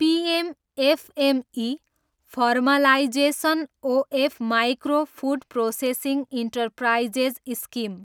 PM FME, formalisation of micro food processing enterprises scheme